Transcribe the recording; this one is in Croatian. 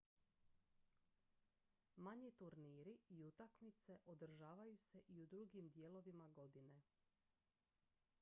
manji turniri i utakmice održavaju se i u drugim dijelovima godine